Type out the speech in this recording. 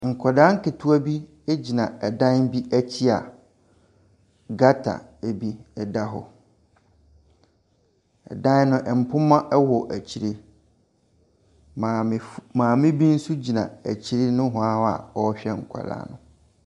Nkwadaa nketewa bi gyina dan bi akyi a gutter bi da hɔ. Dan no, mpoma wɔ akyire. Maamefo maame bi nso gyina akyire nohoa hɔ a ɔrehwɛ nkwadaa no.